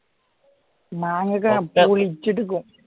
മാങ്ങയൊക്കെ പുളിച്ചിട്ടിരിക്കും